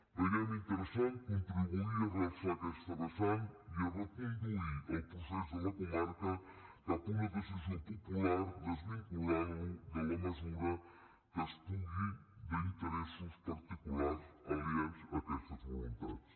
veiem interessant contribuir a realçar aquesta vessant i a reconduir el procés de la comarca cap a una decisió popular desvinculant lo en la mesura que es pugui d’interessos particulars aliens a aquestes voluntats